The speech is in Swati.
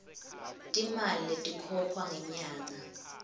timali letikhokhwa ngenyanga